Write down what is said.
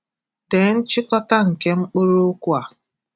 Dee nchịkọta nke mkpụrụ okwu a.